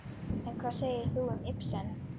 En hvað segir þú um Ibsen?